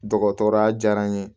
Dɔgɔtɔrɔya diyara n ye